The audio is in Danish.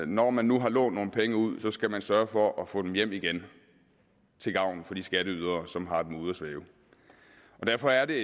når man nu har lånt nogle penge ud skal man sørge for at få dem hjem igen til gavn for de skatteydere som har dem ude at svømme derfor er det